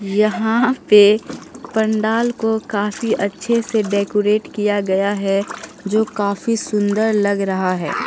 यहां पे पंडाल को काफी अच्छे से डेकोरेट किया गया है जो काफी सुंदर लग रहा है।